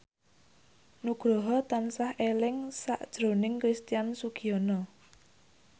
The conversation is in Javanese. Nugroho tansah eling sakjroning Christian Sugiono